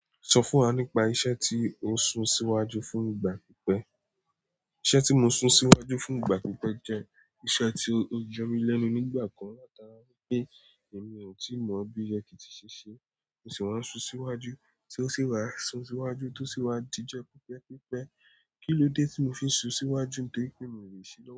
Sọ fún wa nípa iṣẹ́ tí ó sun síwájú fún ìgbà pípẹ́. Iṣẹ́ tí mo sun síwájú fún ìgbà pípé jẹ́ iṣẹ́ tí ó yọ mí lẹ́nu nígbà kan látara wípé èmi ò tí mọ̀ bí yẹ kí tí ṣe ṣe, mo sì wá ń sun síwájú tí ó sì wá sun síwájú tí ó sì wá di jọ pípẹ́ pípẹ́. Kí ló dé tí mo fi ń sun síwájú nítorí pé mi ò lè ṣe?